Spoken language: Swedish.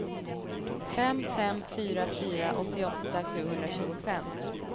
fem fem fyra fyra åttioåtta sjuhundratjugofem